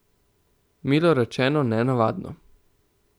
Milo rečeno nenavadno.